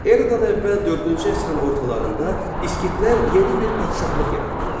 Eradan əvvəl dördüncü əsrin ortalarında İskitlər yeni bir padşahlıq yaratdılar.